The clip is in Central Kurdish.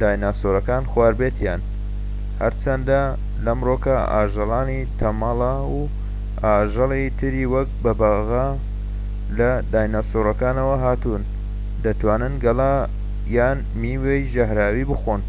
دیناسۆرەکان خواردبێتیان، هەرچەندە لەمرۆکەدا ئاژەڵی تەمەڵە و ئاژەڵی تری وەکو بەبەغا لە دیناسۆرەکانەوە هاتوون دەتوانن گەڵا یان میوەی ژەهراوی بخۆن